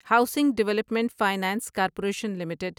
housing development finance corporation limited